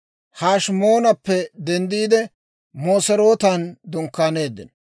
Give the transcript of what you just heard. Hashimoonappe denddiide, Moserootan dunkkaaneeddino.